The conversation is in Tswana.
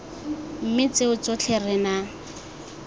mme tseo tsotlhe re na